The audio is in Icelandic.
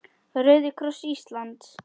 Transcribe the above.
Rauði kross Íslands